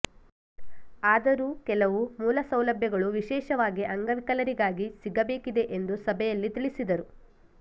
ಆದರೂ ಕೆಲವು ಮೂಲಸೌಲಭ್ಯಗಳು ವಿಶೇಷವಾಗಿ ಅಂಗವಿಕಲರಿಗಾಗಿ ಸಿಗಬೇಕಿದೆ ಎಂದು ಸಭೆಯಲ್ಲಿ ತಿಳಿಸಿದರು